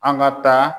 An ka taa